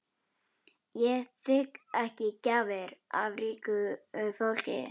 Ég þigg ekki gjafir af ríku fólki.